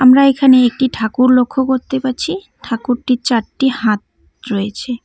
আমরা এখানে একটি ঠাকুর লক্ষ করতে পারছি ঠাকুরটির চারটি হাত রয়েছে।